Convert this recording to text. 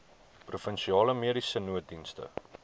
provinsiale mediese nooddienste